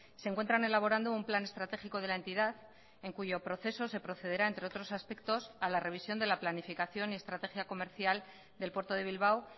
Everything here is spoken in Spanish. se encuentran elaborando un plan estratégico de la entidad en cuyo proceso se procederá entre otros aspectos a la revisión de la planificación y estrategia comercial del puerto de bilbao